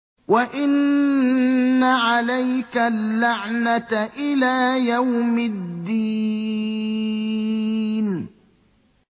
وَإِنَّ عَلَيْكَ اللَّعْنَةَ إِلَىٰ يَوْمِ الدِّينِ